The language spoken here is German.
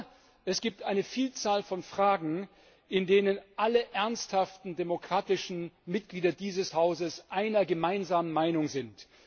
Aber es gibt eine Vielzahl von Fragen, in denen alle ernsthaft demokratischen Mitglieder dieses Hauses einer gemeinsamen Meinung sind.